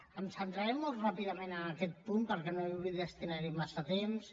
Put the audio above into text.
em centraré molt ràpidament en aquest punt perquè no hi vull destinar massa temps